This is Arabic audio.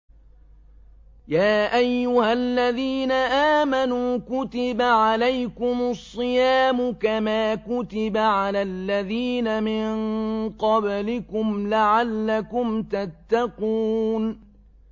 يَا أَيُّهَا الَّذِينَ آمَنُوا كُتِبَ عَلَيْكُمُ الصِّيَامُ كَمَا كُتِبَ عَلَى الَّذِينَ مِن قَبْلِكُمْ لَعَلَّكُمْ تَتَّقُونَ